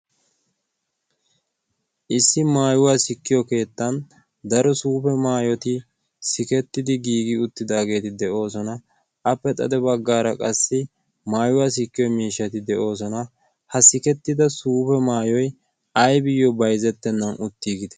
issi maayuwaa sikkiyo keettan daro suufe maayoti sikettidi giigi uttidaageeti de7oosona. appe xade baggaara qassi maayuwaa sikkiyo miishshati de7oosona. ha sikettida suufe maayoi aibiyyo baizettennan uttiigidee?